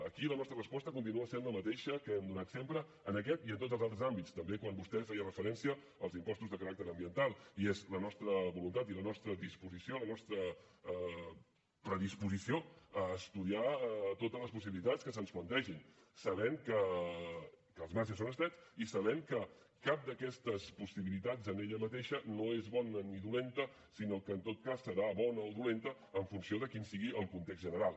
aquí la nostra resposta continua sent la mateixa que hem donat sempre en aquest i en tots els altres àmbits també quan vostè feia referència als impostos de caràcter ambiental i és la nostra voluntat i la nostra disposició la nostra predisposició a estudiar totes les possibilitats que se’ns plantegin sabent que els marges són estrets i sabent que cap d’aquestes possibilitats en ella mateixa no és bona ni dolenta sinó que en tot cas serà bona o dolenta en funció de quin sigui el context general